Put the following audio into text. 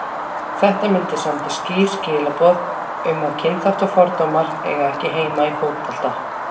Þetta myndi senda skýr skilaboð um að kynþáttafordómar eiga ekki heima í fótbolta.